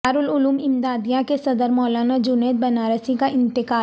دار العلوم امدادیہ کے صدر مولانا جنید بنارسی کا انتقال